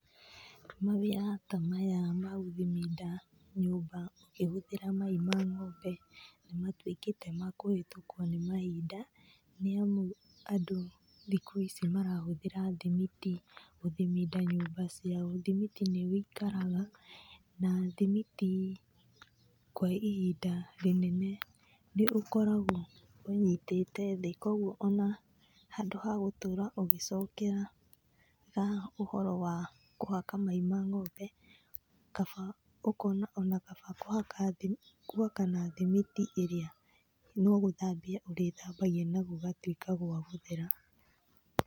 Mawĩra ta maya magũthiminda nyũmba ũkĩhũthĩra mai ma ng'ombe nĩmatuĩkĩte ma kũhĩtũkũo nĩ mahinda nĩ amu andũ thikũ ici marahũthĩra thimiti gũthiminda nyũmba ciao. Thimiti nĩ wĩikaraga na thimiti kwa ihinda rĩnene nĩũkoragũo ũnyitĩte thĩ koguo ona handũ hagũtũra ũgĩcokeraga ũhoro wa kũhaka mai ma ng'ombe kaba, ũkona onakaba kũhaka gwaka na thimiti ĩrĩa no gũthambia ũrĩthambagia na gũgatuĩka gwa gũthera.